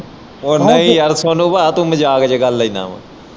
ਓ ਹਾਏ ਯਾਰ ਸੋਨੂੰ ਭਾਅ ਤੂੰ ਮਜ਼ਾਕ ਚ ਗੱਲ ਲੈਣਾ ਵਾਂ।